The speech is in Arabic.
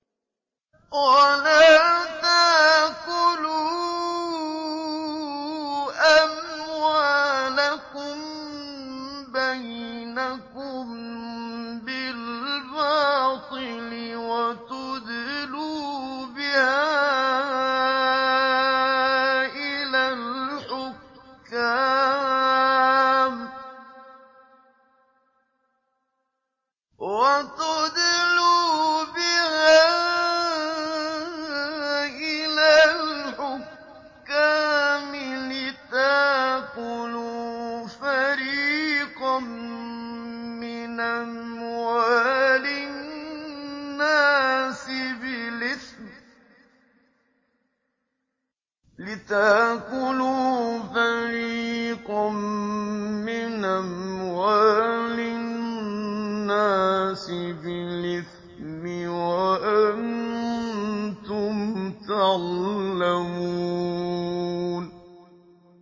وَلَا تَأْكُلُوا أَمْوَالَكُم بَيْنَكُم بِالْبَاطِلِ وَتُدْلُوا بِهَا إِلَى الْحُكَّامِ لِتَأْكُلُوا فَرِيقًا مِّنْ أَمْوَالِ النَّاسِ بِالْإِثْمِ وَأَنتُمْ تَعْلَمُونَ